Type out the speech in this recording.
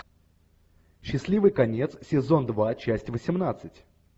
счастливый конец сезон два часть восемнадцать